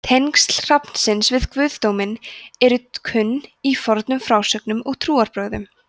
tengsl hrafnsins við guðdóminn eru kunn í fornum frásögnum og trúarbrögðum